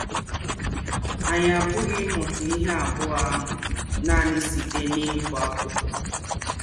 Anyị apụghị ịmụta ihe abụọ ahụ nanị site n’ịgụ akwụkwọ.